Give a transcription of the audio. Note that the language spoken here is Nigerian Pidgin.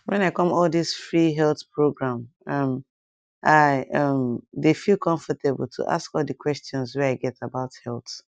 when i come all this free health program um i um dey feel comfortable to ask all the questions wey i get about health